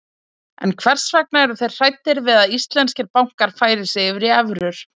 En hvers vegna eru þeir hræddir við að íslenskir bankar færi sig yfir í evrur?